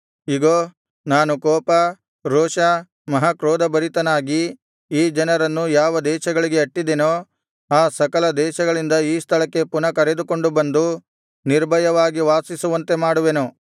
ಇಗೋ ನಾನು ಕೋಪ ರೋಷ ಮಹಾಕ್ರೋಧಭರಿತನಾಗಿ ಈ ಜನರನ್ನು ಯಾವ ದೇಶಗಳಿಗೆ ಅಟ್ಟಿದೆನೋ ಆ ಸಕಲ ದೇಶಗಳಿಂದ ಈ ಸ್ಥಳಕ್ಕೆ ಪುನಃ ಕರೆದುಕೊಂಡು ಬಂದು ನಿರ್ಭಯವಾಗಿ ವಾಸಿಸುವಂತೆ ಮಾಡುವೆನು